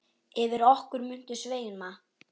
Yfir okkur muntu sveima.